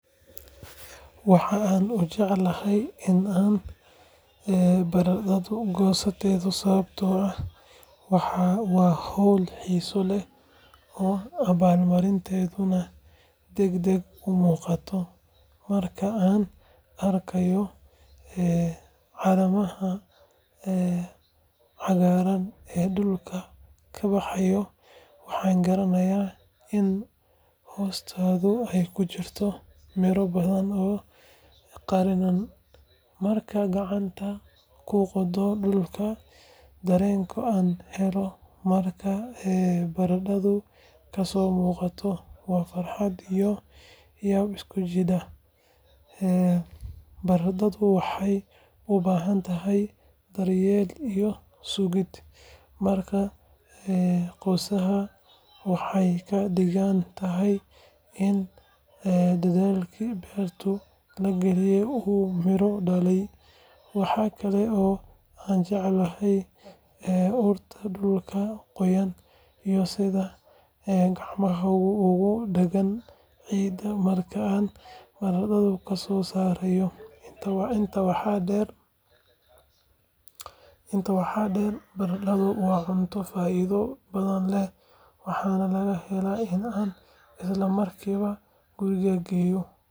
Waxaan aad u jecelahay in aan barandhada goosto sababtoo ah waa hawl xiiso leh oo abaalmarinteedu degdeg u muuqato. Marka aan arkayo caleemaha cagaaran ee dhulka ka baxaya, waxaan garanayaa in hoostooda ay ku jirto miro badan oo qarinan. Markaan gacanta ku qodayo dhulka, dareenka aan helo marka barandhada kasoo muuqato waa farxad iyo yaab isku jira. Barandhada waxay u baahan tahay daryeel iyo sugid, markaa goosashada waxay ka dhigan tahay in dadaalkii beerta la geliyay uu miro dhalay. Waxa kale oo aan jecelahay urta dhulka qoyan iyo sida gacmahaygu ugu dhagaan ciidda marka aan barandhada kasoo saarayo. Intaa waxaa dheer, barandhada waa cunto faa’iido badan leh, waxaana ka helaa in aan isla markiiba guriga geeyo.